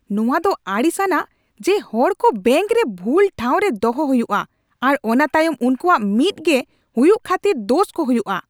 ᱱᱚᱣᱟ ᱫᱚ ᱟᱲᱤᱥ ᱟᱱᱟᱜ ᱡᱮ ᱦᱚᱲ ᱠᱚ ᱵᱮᱝᱠ ᱨᱮ ᱵᱷᱩᱞ ᱴᱷᱟᱶ ᱨᱮ ᱫᱚᱦᱚ ᱦᱩᱭᱩᱜᱼᱟ , ᱟᱨ ᱚᱱᱟ ᱛᱟᱭᱚᱢ ᱩᱱᱠᱩᱣᱟᱜ ᱢᱤᱫ ᱜᱮ ᱦᱩᱭᱩᱜ ᱠᱷᱟᱛᱤᱨ ᱫᱳᱥ ᱠᱚ ᱦᱩᱭᱩᱜᱼᱟ ᱾